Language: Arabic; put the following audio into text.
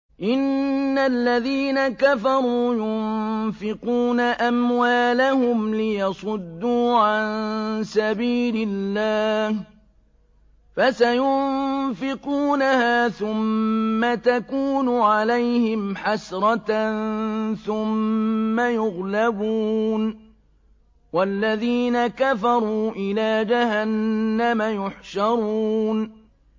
إِنَّ الَّذِينَ كَفَرُوا يُنفِقُونَ أَمْوَالَهُمْ لِيَصُدُّوا عَن سَبِيلِ اللَّهِ ۚ فَسَيُنفِقُونَهَا ثُمَّ تَكُونُ عَلَيْهِمْ حَسْرَةً ثُمَّ يُغْلَبُونَ ۗ وَالَّذِينَ كَفَرُوا إِلَىٰ جَهَنَّمَ يُحْشَرُونَ